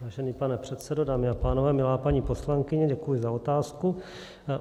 Vážený pane předsedo, dámy a pánové, milá paní poslankyně, děkuji za otázku.